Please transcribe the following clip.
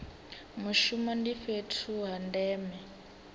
mushumo ndi fhethu ha ndeme